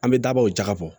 An bɛ dabɔ o jaka bɔ